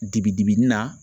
Dibi dibi ni na.